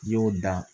I y'o dan